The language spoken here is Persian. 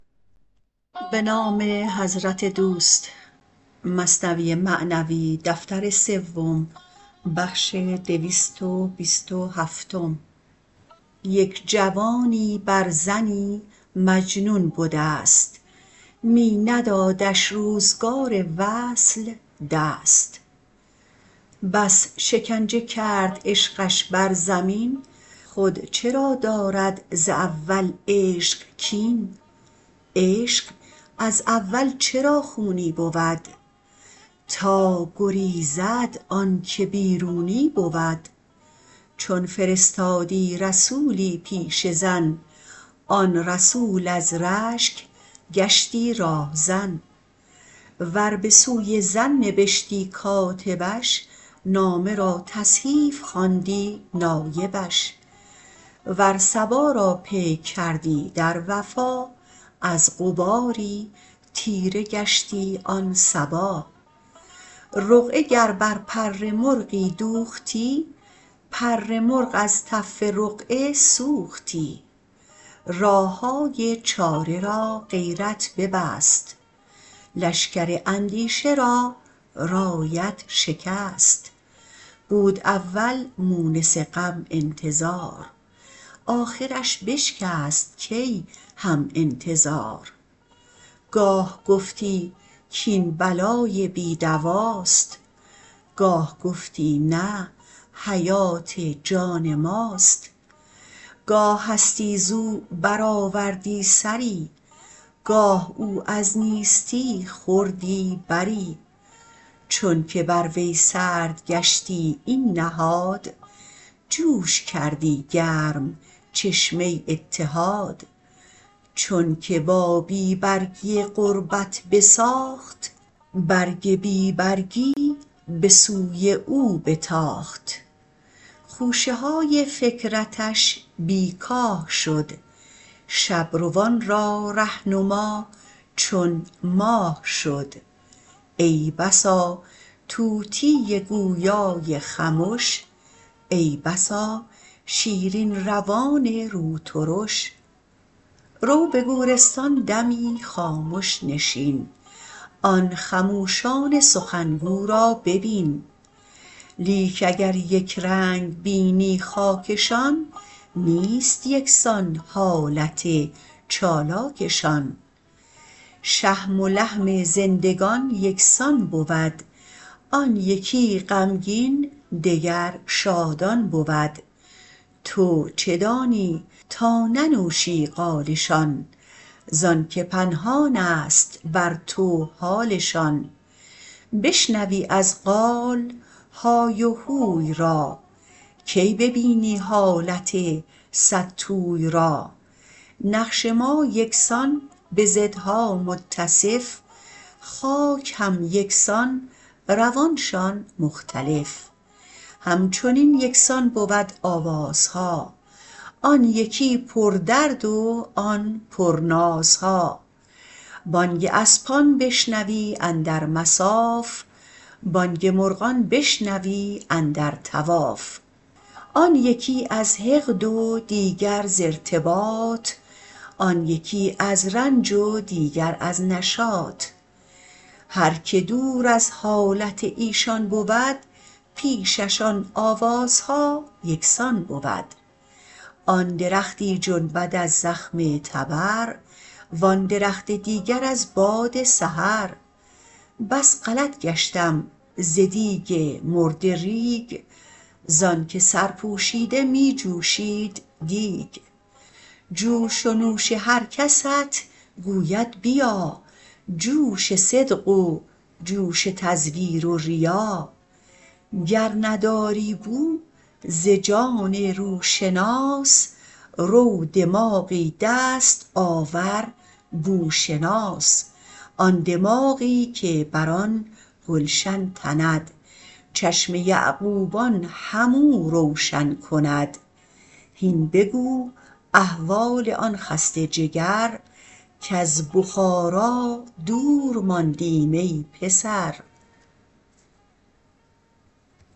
یک جوانی بر زنی مجنون بدست می ندادش روزگار وصل دست بس شکنجه کرد عشقش بر زمین خود چرا دارد ز اول عشق کین عشق از اول چرا خونی بود تا گریزد آنک بیرونی بود چون فرستادی رسولی پیش زن آن رسول از رشک گشتی راه زن ور بسوی زن نبشتی کاتبش نامه را تصحیف خواندی نایبش ور صبا را پیک کردی در وفا از غباری تیره گشتی آن صبا رقعه گر بر پر مرغی دوختی پر مرغ از تف رقعه سوختی راههای چاره را غیرت ببست لشکر اندیشه را رایت شکست بود اول مونس غم انتظار آخرش بشکست کی هم انتظار گاه گفتی کاین بلای بی دواست گاه گفتی نه حیات جان ماست گاه هستی زو بر آوردی سری گاه او از نیستی خوردی بری چونک بر وی سرد گشتی این نهاد جوش کردی گرم چشمه اتحاد چونک با بی برگی غربت بساخت برگ بی برگی به سوی او بتاخت خوشه های فکرتش بی کاه شد شب روان را رهنما چون ماه شد ای بسا طوطی گویای خمش ای بسا شیرین روان روترش رو به گورستان دمی خامش نشین آن خموشان سخن گو را ببین لیک اگر یکرنگ بینی خاکشان نیست یکسان حالت چالاکشان شحم و لحم زندگان یکسان بود آن یکی غمگین دگر شادان بود تو چه دانی تا ننوشی قالشان زانک پنهانست بر تو حالشان بشنوی از قال های و هوی را کی ببینی حالت صدتوی را نقش ما یکسان بضدها متصف خاک هم یکسان روانشان مختلف همچنین یکسان بود آوازها آن یکی پر درد و آن پر نازها بانگ اسپان بشنوی اندر مصاف بانگ مرغان بشنوی اندر طواف آن یکی از حقد و دیگر ز ارتباط آن یکی از رنج و دیگر از نشاط هر که دور از حالت ایشان بود پیشش آن آوازها یکسان بود آن درختی جنبد از زخم تبر و آن درخت دیگر از باد سحر بس غلط گشتم ز دیگ مردریگ زانک سرپوشیده می جوشید دیگ جوش و نوش هرکست گوید بیا جوش صدق و جوش تزویر و ریا گر نداری بو ز جان روشناس رو دماغی دست آور بوشناس آن دماغی که بر آن گلشن تند چشم یعقوبان هم او روشن کند هین بگو احوال آن خسته جگر کز بخاری دور ماندیم ای پسر